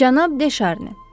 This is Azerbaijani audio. Cənab De Şarni.